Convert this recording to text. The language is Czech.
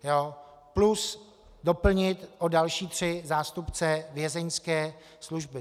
Plus doplnit o další tři zástupce Vězeňské služby.